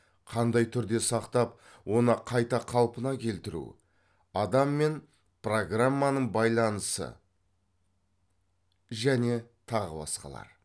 қандай түрде сақтап оны қайта қалпына келтіру адам мен программаның байланысы және тағы басқалар